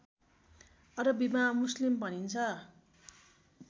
अरबीमा मुस्लिम भनिन्छ